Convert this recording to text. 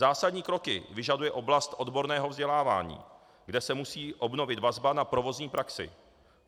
Zásadní kroky vyžaduje oblast odborného vzdělávání, kde se musí obnovit vazba na provozní praxi.